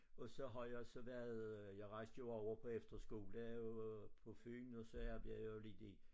Og så har jeg så været øh jeg rejste jo over på efterskole øh på Fyn og så arbejdede jeg lidt i